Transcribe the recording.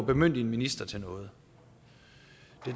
bemyndige en minister til noget